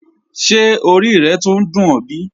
Ṣé ọ̀rí rẹ́ túńń dùn ọ̀ bí?